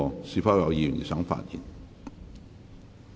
是否有議員想發言？